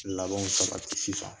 Labɛnw sabati sisan